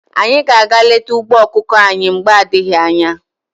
Anyị ga aga leta ugbo ọkụkọ anyị mgbe adịghị anya.